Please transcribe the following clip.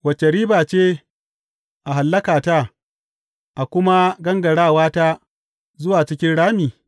Wace riba ce a hallakata, a kuma gangarawa ta zuwa cikin rami?